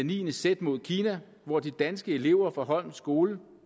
niende z mod kina hvor de danske elever fra holme skole